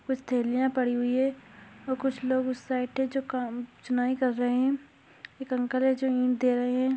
कुछ थैलिया पड़ी हुई है और कुछ लोग उस साइड है जो काम चुनाई कर रहे है एक अंकल है जो इंट दे रहे है।